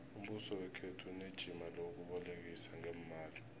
umbuso wekhethu unejima lokubolekisa ngeemali